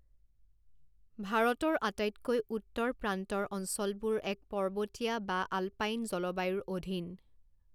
ভাৰতৰ আটাইতকৈ উত্তৰ প্ৰান্তৰ অঞ্চলবোৰ এক পৰ্বতীয়া বা আলপাইন জলবায়ুৰ অধীন৷